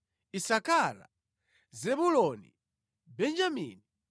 Isakara, Zebuloni, Benjamini;